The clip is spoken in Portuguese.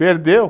Perdeu?